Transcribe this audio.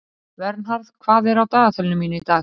Vernharð, hvað er á dagatalinu mínu í dag?